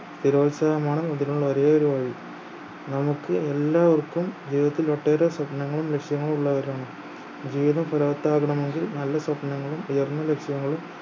സ്ഥിരോത്സാഹമാണ് അതിനുള്ള ഒരേയൊരു വഴി നമ്മുക്ക് എല്ലാവർക്കും ജീവിതത്തിൽ ഒട്ടേറെ സ്വപ്നങ്ങളും ലക്ഷ്യങ്ങളും ഉള്ളവരാണ് ജീവിതം ഫലവത്താകണമെങ്കിൽ നല്ല സ്വപ്നങ്ങളും ഉയർന്ന ലക്ഷ്യങ്ങളും